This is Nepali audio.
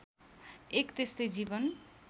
एक त्यस्तै जीवन